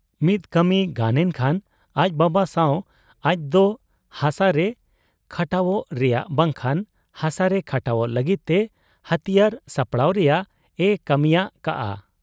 ᱢᱤᱫ ᱠᱟᱹᱢᱤ ᱜᱟᱱᱮᱱ ᱠᱷᱟᱱ ᱟᱡ ᱵᱟᱵᱟ ᱥᱟᱶ ᱟᱡᱫᱚ ᱦᱟᱥᱟᱨᱮ ᱠᱷᱟᱴᱟᱣᱜ ᱨᱮᱭᱟᱝ ᱵᱟᱝᱠᱷᱟᱱ ᱦᱟᱥᱟᱨᱮ ᱠᱷᱟᱴᱟᱣᱜ ᱞᱟᱹᱜᱤᱫ ᱛᱮ ᱦᱟᱹᱛᱤᱭᱟᱹᱨ ᱥᱟᱯᱲᱟᱣ ᱨᱮᱭᱟᱝ ᱮ ᱠᱟᱹᱢᱤᱭᱟᱠᱟᱜ ᱟ ᱾